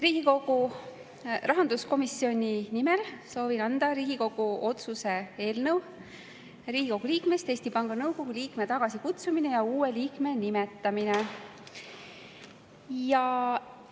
Riigikogu rahanduskomisjoni nimel soovin anda üle Riigikogu otsuse "Riigikogu liikmest Eesti Panga Nõukogu liikme tagasikutsumine ja uue liikme nimetamine" eelnõu.